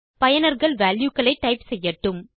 பயனர்கள் வால்யூ களை டைப் செய்யட்டும்